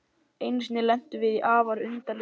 Einu sinni lentum við í afar undarlegu máli.